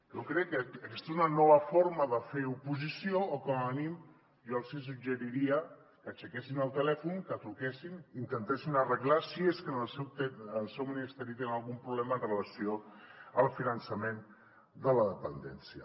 jo crec que aquesta és una nova forma de fer oposició o com a mínim jo els hi suggeriria que aixequessin el telèfon que truquessin i ho intentessin arreglar si és que en el seu ministeri tenen algun problema amb relació al finançament de la dependència